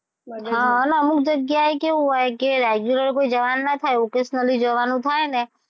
હા અમુક અમુક જગ્યાએ કેવું હોય કે regular કઈ જવા નું ના થાય occasionally જવાનું થાય ને,